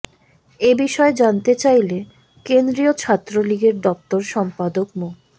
এ বিষয়ে জানতে চাইলে কেন্দ্রীয় ছাত্রলীগের দপ্তর সম্পাদক মো